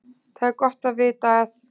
Það er gott að vita að